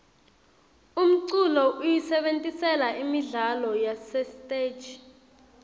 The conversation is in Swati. umculo siyisebentisela imidlalo yasesiteji